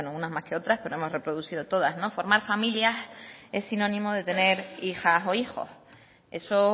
unas más que otras pero hemos reproducido todas formar familias es sinónimo de tener hijas o hijos eso